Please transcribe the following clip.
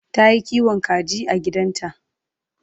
Tayi kiwon kaji a gidanta